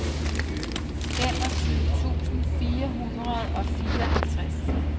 femogtyve tusind fire hundrede og fireoghalvtreds